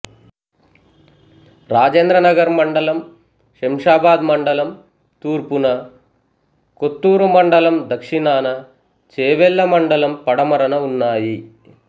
రాజేంద్రనగర్ మండలం శంషాబాద్ మండలం తూర్పున కొత్తూరు మండలం దక్షిణాన చేవెళ్ల మండలం పడమరన ఉన్నాయి